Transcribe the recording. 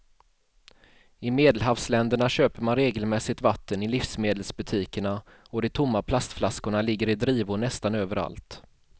I medelhavsländerna köper man regelmässigt vatten i livsmedelsbutikerna och de tomma plastflaskorna ligger i drivor nästan överallt.